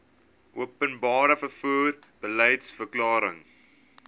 openbare vervoer beliedsverklaring